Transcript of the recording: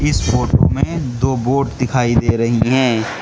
इस फोटो मे दो बोट दिखाई दे रही हैं।